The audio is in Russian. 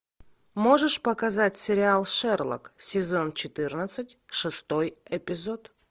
можешь показать сериал шерлок сезон четырнадцать шестой эпизод